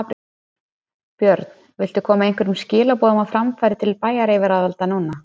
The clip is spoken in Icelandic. Björn: Viltu koma einhverjum skilaboðum á framfæri til bæjaryfirvalda núna?